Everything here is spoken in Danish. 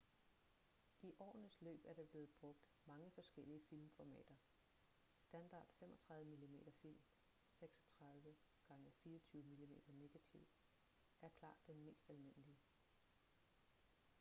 i årenes løb er der blevet brugt mange forskellige filmformater. standard 35 mm-film 36 x 24 mm negativ er klart den mest almindelige